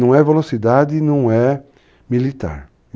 Não é velocidade, não é militar.